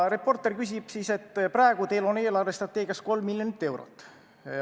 Reporter ütleb siis, et praegu on teil eelarvestrateegias 3 miljonit eurot.